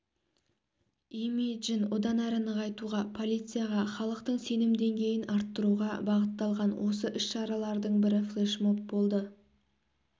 имиджін одан әрі нығайтуға полицияға халықтың сенім деңгейін арттыруға бағытталған осы іс-шаралардың бірі флешмоб болды